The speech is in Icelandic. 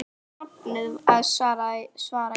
Þú varst sofnuð, svara ég.